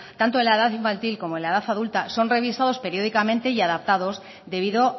tanto en la edad infantil como en la edad adulta son revisados periódicamente y adaptados debido